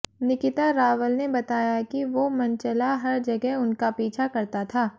निकिता रावल ने बताया कि वो मनचला हर जगह उनका पीछा करता था